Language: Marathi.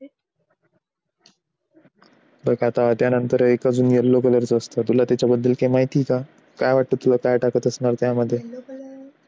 बघ आता त्यानंतर अजून एक yellow color च असतं तुला तुला त्याच्याबद्दल काही माहिती आहे का? काय वाटतं? तुला काय टाकत असताना असणार. त्यामध्ये